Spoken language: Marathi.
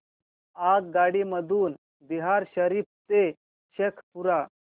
आगगाडी मधून बिहार शरीफ ते शेखपुरा